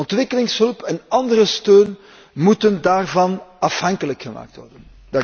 Ontwikkelingshulp en andere steun moeten daarvan afhankelijk gemaakt worden.